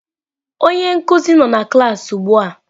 Onye nkuzi nọ na klaasị ugbu a.